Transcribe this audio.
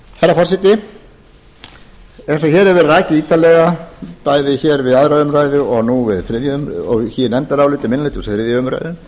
herra forseti eins og hér hefur verið rakið ítarlega bæði við aðra umræðu og í nefndaráliti minni hluta við þriðju umræðu